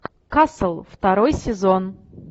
касл второй сезон